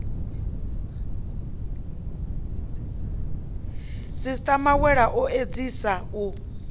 sisiṱa mawela o edziasa u